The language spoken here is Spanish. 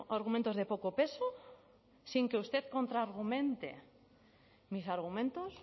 argumentos de poco peso sin que usted contra argumente mis argumentos